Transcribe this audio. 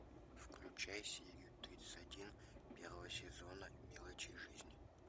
включай серию тридцать один первого сезона мелочи жизни